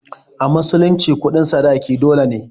A musulunci kuɗin sadaki dole ne.